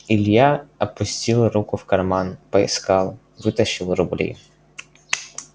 илья опустил руку в карман поискал вытащил рубли